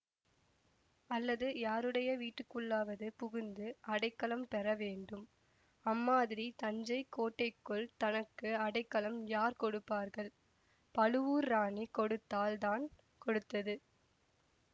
அல்லது யாருடைய வீட்டுக்குள்ளாவது புகுந்து அடைக்கலம் பெற வேண்டும் அம்மாதிரி தஞ்சை கோட்டைக்குள் தனக்கு அடைக்கலம் யார் கொடுப்பார்கள் பழுவூர் ராணி கொடுத்தால் தான் கொடுத்தது